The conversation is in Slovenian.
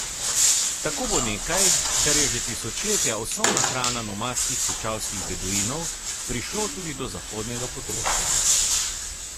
Tako bo nekaj, kar je že tisočletja osnovna hrana nomadskih puščavskih beduinov, prišlo tudi do zahodnega potrošnika.